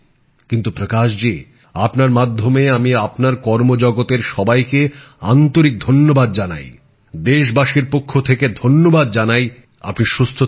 কিন্তু প্রকাশ জী আপনার মাধ্যমে আমি আপনার কর্মজগতের সবাইকে আন্তরিক ধন্যবাদ জানাই দেশবাসীর পক্ষ থেকে ধন্যবাদ জানাই আপনি সুস্থ থাকুন